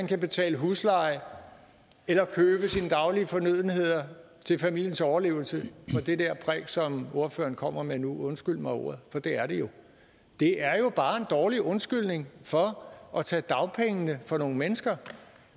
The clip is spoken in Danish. kan betale husleje eller købe sine daglige fornødenheder til familiens overlevelse på det der præk som ordføreren kommer med nu undskyld mig ordet for det er det jo det er jo bare en dårlig undskyldning for at tage dagpengene fra nogle mennesker